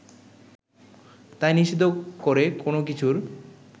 তাই নিষিদ্ধ করে কোনো কিছুর